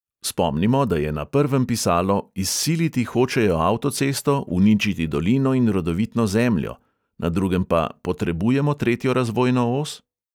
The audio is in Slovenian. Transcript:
Spomnimo, da je na prvem pisalo "izsiliti hočejo avtocesto, uničiti dolino in rodovitno zemljo", na drugem pa "potrebujemo tretjo razvojno os"!